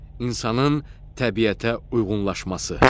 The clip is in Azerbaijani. İnsanın təbiətə uyğunlaşması.